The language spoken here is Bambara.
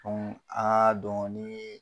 aa dɔɔniin